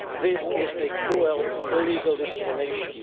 This is cruel, illegal discrimination.